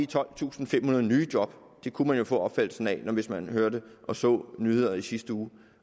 tolvtusinde og femhundrede nye job det kunne man jo få opfattelsen af hvis man hørte og så nyheder i sidste uge